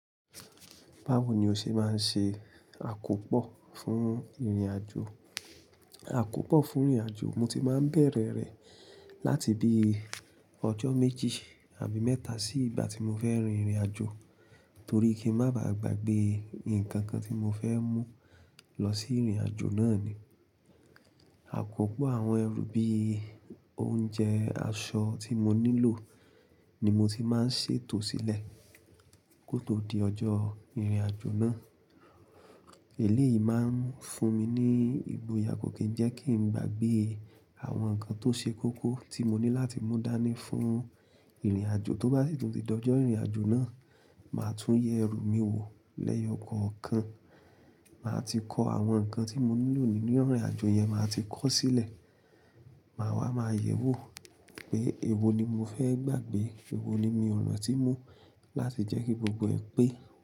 Báwo ni o ṣe máa ń ṣe àkópọ̀ fún ìrìnàjò? Àkópọ̀ fún ìrìnàjò, mo ti máa ń bẹ̀rẹ̀ rẹ̀ láti bí ọjọ́ méjì àbí mẹ́ta sí ìgbà tí mo fẹ́ rin ìrìnàjò torí kí ń má ba à gbagbe nǹkan kan tí mo fẹ́ mú lọ sí ìrìnàjò náà ni. Àkópọ̀ àwọn ẹrù bí i oúnjẹ, aṣọ tí mo nílò ni mo ti máa ń ṣètò sílẹ̀ kó tó di ọjọ́ ìrìnàjò náà. Eléyìí man fun mi ni ìgboyà ko kin jẹ ki n gbàgbé àwọn nǹkan tó ṣe kókó tí mo ní láti mú dání fún ìrìnàjò. Tó bá sì tún di ọjọ́ ìrìnàjò náà, màá tún yẹ ẹrù mi wò lẹ́yọkọọkan. Màá ti kọ àwọn nǹkan tí mo nílò nínú ìrìnàjò yẹn, màá ti kọ ó sílẹ̀. Màá wá, màá yẹ̀wò pé èwo ni mo fẹ́ gbagbe, èwo ni mi ò rántí mú láti jẹ́ kí gbogbo ẹ pé.